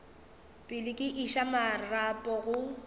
pele ke iša marapo go